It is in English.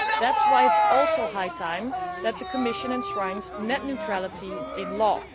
That is why it is also high time that the Commission enshrines net neutrality in law.